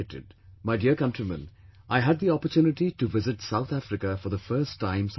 My dear countrymen, I had the opportunity to visit South Africa for the first time some time back